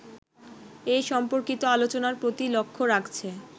এ সম্পর্কিত আলোচনার প্রতি লক্ষ্য রাখছে